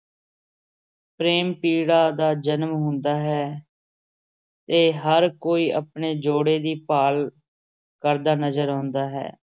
ਪ੍ਰੇਮ-ਪੀੜਾ ਦਾ ਜਨਮ ਹੁੰਦਾ ਹੈ ਤੇ ਹਰ ਕੋਈ ਆਪਣੇ ਜੋੜੇ ਦੀ ਭਾਲ ਕਰਦਾ ਨਜ਼ਰ ਆਉਂਦਾ ਹੈ।